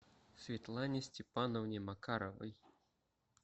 светлане степановне макаровой